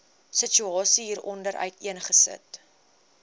situasie hieronder uiteengesit